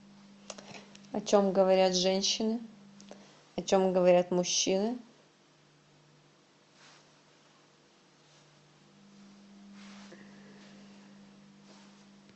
о чем говорят женщины о чем говорят мужчины